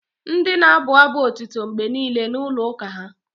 Ndị na-abụ abụ otito mgbe niile na-ụlọ uka ​​ha